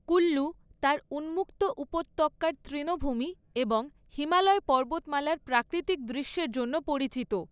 কুল্লু তার উন্মুক্ত উপত্যকার তৃণভূমি এবং হিমালয় পর্বতমালার প্রাকৃতিক দৃশ্যের জন্য পরিচিত।